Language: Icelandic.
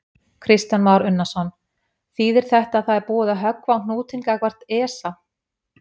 Kristján Már Unnarsson: Þýðir þetta að það er búið að höggva á hnútinn gagnvart ESA?